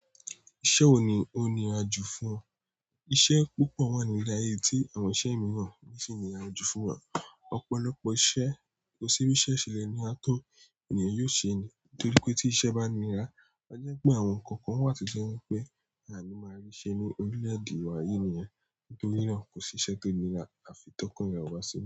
Iṣẹ́ wo ni ó nira jù fún o? Iṣẹ́ púpọ̀ wà ní ìle aye yi tí àwọn iṣẹ́ mìíràn sì ń nira jù fún wa. Ọ̀pọ̀lọpọ̀ iṣẹ́, kò sí bí iṣẹ́ ṣe lè níra tó ènìyàn yóò ṣe ẹ́. Nítorí pé tí iṣẹ́ bá nira, a jẹ́ pé àwọn nǹkan kan wà to je wípé àní máa rí ṣe ní orílè-èdè wa yìí nìyẹn. Nítorí náà kò sí iṣẹ́ tó nira àfi tọkan eyan ó bá ṣe.